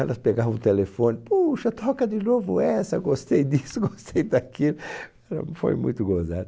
Elas pegavam o telefone, puxa, toca de novo essa, gostei disso, gostei daquilo, fo foi muito gozada.